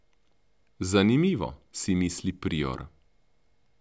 Zanimivo, si misli prior.